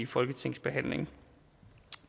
folketingsbehandlingen